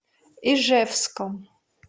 ижевском